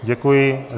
Děkuji.